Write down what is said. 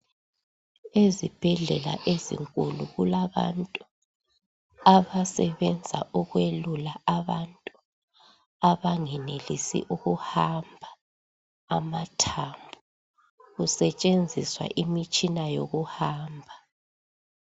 Ezibhedlela ezinkulu kulabantu abasebenza ukwelula abantu abangenelisi ukuhamba amathambo kusetshenziswa imitshina yokuhamba.